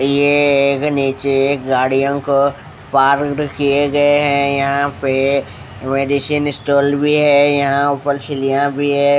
ये ए ए ए एक नीचे गाड़ियों को पार्कड़ किए हुए है यहाँ पे मेडिसन स्टॉल भी यहाँ ऊपर सिलियाँ भी है ।